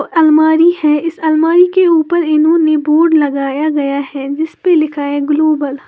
अ अलमारी है। इस अलमारी के ऊपर इन्होंने बोर्ड लगाया गया है जिसपे लिखा है ग्लोबल ।